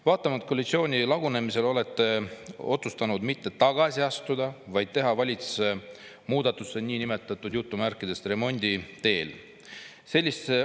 Vaatamata koalitsiooni lagunemisele olete otsustanud mitte tagasi astuda, vaid teha valitsuses muudatusi nn "remondi" teel.